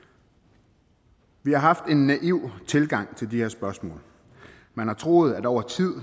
vi har haft en naiv tilgang til de her spørgsmål man har troet at over tid